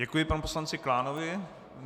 Děkuji panu poslanci Klánovi.